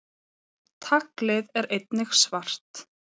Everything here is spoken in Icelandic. Taglið er einnig svart.